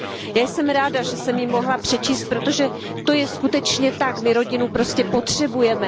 Já jsem ráda, že jsem ji mohla přečíst, protože to je skutečně tak, my prostě rodinu potřebujeme.